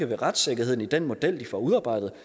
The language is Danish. ved retssikkerheden i den model de får udarbejdet